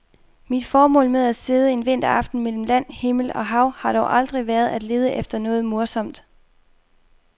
Mit formål med at sidde en vinteraften mellem land, himmel og hav har dog aldrig været at lede efter noget morsomt.